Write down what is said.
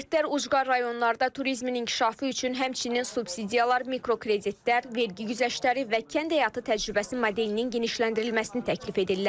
Ekspertlər ucqar rayonlarda turizmin inkişafı üçün həmçinin subsidiyalar, mikrokreditlər, vergi güzəştləri və kənd həyatı təcrübəsi modelinin genişləndirilməsini təklif edirlər.